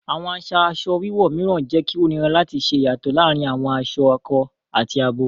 Awọn aṣa aṣọ wíwọ̀ míràn jẹ kí o nírà láti ṣè iyátọ̀ làárìn awọn aṣọ àkọ̀ àti àbọ̀